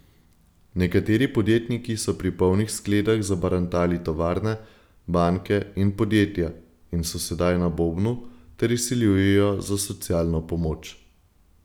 Nekateri podjetniki so pri polnih skledah zabarantali tovarne, banke in podjetja in so sedaj na bobnu ter izsiljujejo za socialno pomoč.